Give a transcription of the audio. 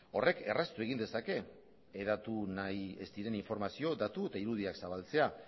horrek erraztu egin dezake hedatu nahi ez diren informazio datu eta irudiak zabaltzea